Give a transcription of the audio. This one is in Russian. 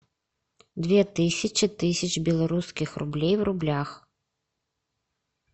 две тысячи тысяч белорусских рублей в рублях